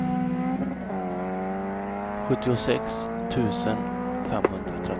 sjuttiosex tusen femhundratretton